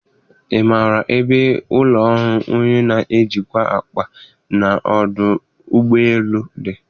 Ị maara ebe ụlọ ọrụ onye na-ejikwa akpa n'ọdụ ụgbọ elu dị?